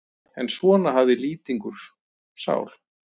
En svona hafði Lýtingur sál.